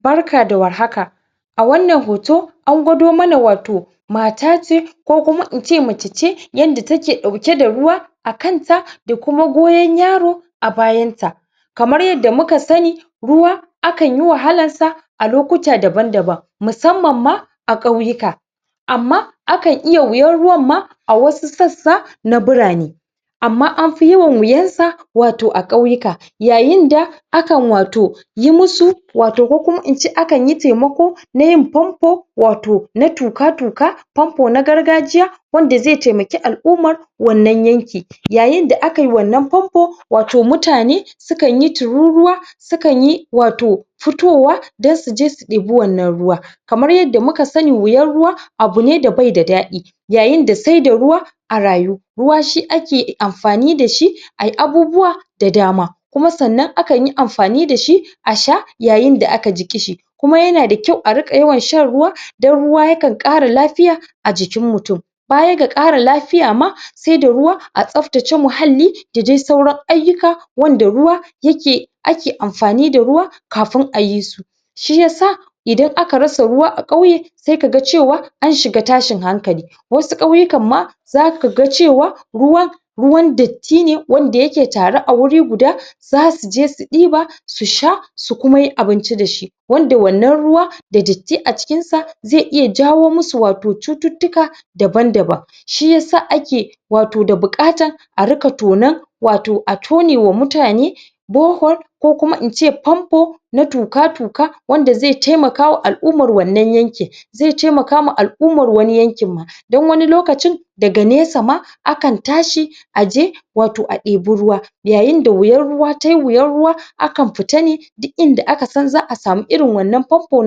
Barka da warhaka a wannan hoto, an gwado mana wato mata ce ko kuma ince mace ce yanda take ɗauke da ruwa akan ta da kuma goyon yaro a bayanta kamar yadda muka sani ruwa akanyi wahalan sa a lokuta daban-daban musamman ma a Ƙyauyuka amma akan iya wiyan ruwan ma a wasu sassa na birane amma anfi yawan wiyansa wato a Ƙyauyuka yayin da akan wato, yimu, kukuma ince akan yi taimako nayin pampo wato na tuƘa-tuƘa pampo na gargajiya wanda zai taimake al'umma wannan yanki. yayin da akai wannan pampo, wato mutane sukanyi tururuwa sukanyi wato fitowa dan suje su ɗibe wannan ruwa kamar yadda muka sani wiyar ruwa abune da bai da daɗi yayin da saida ruwa a rayu ruwa shi ake amfani dashi ai abubuwa da dama kuma sannan akanyi amfani dashi a sha yayin da aka ji Ƙishi kuma yana da kyau a rika yawan shan ruwa dan ruwa ya kan Ƙara lafiya a jikin mutum baya ga Ƙara lafiya ma saida ruwa a tsaftace muhalli dadai sauran aiyuka wanda ruwa ake amfani da ruwa kafin ayisu shiyasa, idan aka rasa ruwa a Ƙauye, sai kaga cewa an shiga tashin hankali wasu Ƙauyukan ma zakaga cewa ruwa ruwan datti ne wanda yake tare a waje guda zasuje su ɗiba su sha su kuma yi abinci dashi wanda wannan ruwa da datti a cikin sa zai iya jawo musu wato cuttutuka daban-daban shiyasa ake wato da buƘatan a rika tonon wato a tone wa mutane borehole kukuma ince pampo na tuƘa-tuƘa wanda zai taimaka ma al'umman wannan yankin zai taimaka ma al'umman wani yankin ma dan wani lokacin daga nesa ma akan tashi aje wato a ɗiba ruwa yayin da wiyan ruwa tayi wiyan ruwa a kan fita ne duk inda aka san za'a sama irin wannan pampo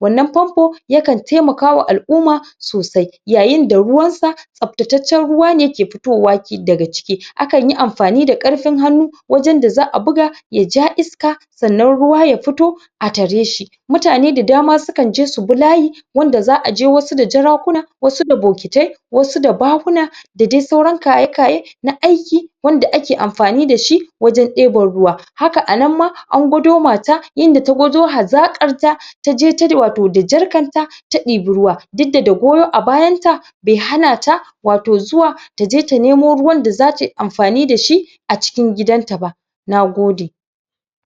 wannan pampo yakan taimaka ma al'umma sosai, yayin da ruwansa tsabtatacen ruwa ne ke fitowa daga ciki, akan yi amfani da karfin hannu wajen da za'a buga yaja iska sannan ruwa ya fito a tare shi mutane da dama sukanje subi layi wanda za'a je wasu da jarakuna wasu da bokitai wasu da bahuna dadi sauran kaye-kaye na aiki wanda ake amfani dashi wajen ɗiban ruwa haka anan ma an gwado mata inda ta gwado hazakar ta taje wato da jarkar ta ta ɗiba ruwa, dikda da goyo a bayanta bai hanata wato zuwa taje ta nemo ruwan da zatayi amfani dashi a cikin gidanta ba nagode.